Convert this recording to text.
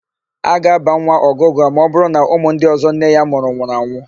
A ga-ábà nwa Ọgụgụa ma ọbụrụ na ụmụ ndị ọ̀zọ́ nne ya mụrụ nwụrụ anwụ.